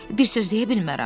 Bir söz deyə bilmərəm.